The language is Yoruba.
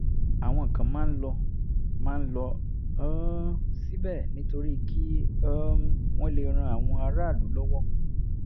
àwọn kan máa ń lọ máa ń lọ um síbẹ̀ nítorí kí um wọ́n lè ran àwọn aráàlú lọ́wọ́